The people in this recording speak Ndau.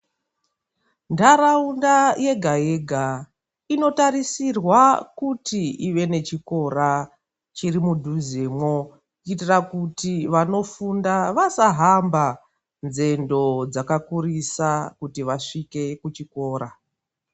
Ntaraunda yega yega inotarisirwa kuti inge ivenechikora mudhuzemwo kuitira kuti vanofunda vasahamba nzendo dzakakurisa kuti vasvike kuchikora.